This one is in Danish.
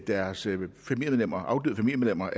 deres afdøde familiemedlemmer